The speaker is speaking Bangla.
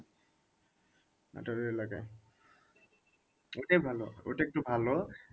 এলাকায় ওইটাই ভালো ওটা একটু ভালো